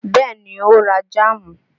Bẹ́ẹ̀ ni ó ra jáàmù